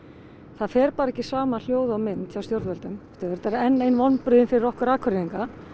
það fer bara ekki saman hljóð og mynd hjá stjórnvöldum þetta eru enn ein vonbrigðin fyrir okkur Akureyringa